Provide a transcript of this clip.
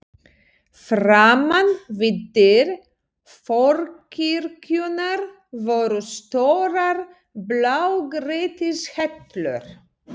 Framan við dyr forkirkjunnar voru stórar blágrýtishellur.